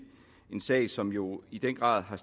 en sag som jo i den grad har